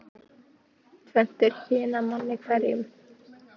Tvennt er kyn að manni hverjum.